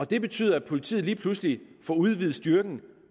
det betyder at politiet lige pludselig får udvidet styrken